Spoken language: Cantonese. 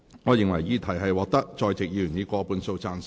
我認為議題獲得在席議員以過半數贊成。